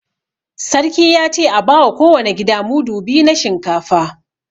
Sarkin ya ce a ba wa kowane gida mudu biyu na shinkafa